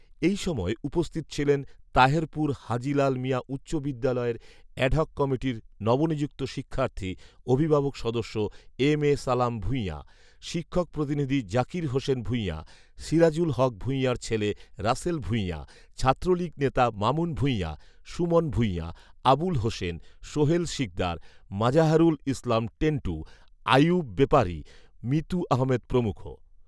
এই সময় উপস্থিত ছিলেন তাহেরপুর হাজী লাল মিয়া উচ্চ বিদ্যালয়ের এডহক কমিটির নবনিযুক্ত শিক্ষার্থী অভিভাবক সদস্য এম এ সালাম ভূঁইয়া, শিক্ষক প্রতিনিধি জাকির হোসেন ভূইয়া, সিরাজুল হক ভূঁইয়ার ছেলে রাসেল ভূঁইয়া, ছাত্রলীগ নেতা মামুন ভূঁইয়া, সুমন ভূঁইয়া, আবুল হোসেন, সোহেল শিকদার, মাঝহারুল ইসলাম টেন্টু, আইয়ুব বেপারি, মিতু আহমেদ প্রমুখ